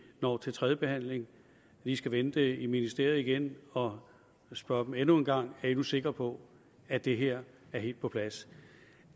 når til tredje behandling lige skal vende det i ministeriet igen og spørge dem endnu en gang er i nu sikre på at det her er helt på plads